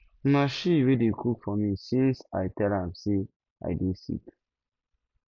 na she wey dey cook for me since i tell am am say i dey sick